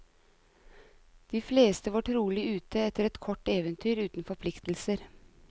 De fleste var trolig ute etter et kort eventyr uten forpliktelser.